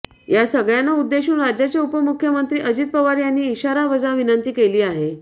या सगळ्यांना उद्देशून राज्याचे उपमुख्यमंत्री अजित पवार यांनी इशारावजा विनंती केली आहे